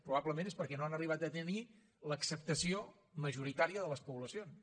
probablement és perquè no han arribat a tenir l’acceptació majoritària de les poblacions